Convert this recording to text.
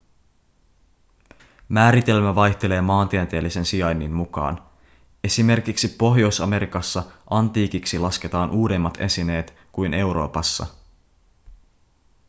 määritelmä vaihtelee maantieteellisen sijainnin mukaan. esimerkiksi pohjois-amerikassa antiikiksi ‎lasketaan uudemmat esineet kuin euroopassa.‎